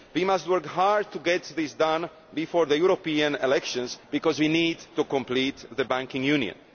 We must work hard to get this done before the European elections, because we need to complete the Banking Union.